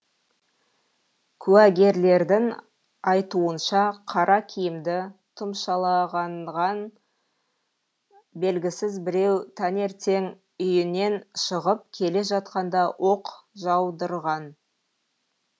куәгерлердің айтуынша қара киімді тұмшалағанған белгісіз біреу таңертең үйінен шығып келе жатқанда оқ жаудырған